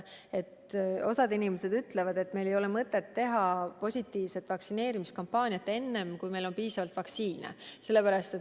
Osa inimesi ütleb, et meil ei ole mõtet teha vaktsineerimiskampaaniat enne, kui meil on piisavalt vaktsiine.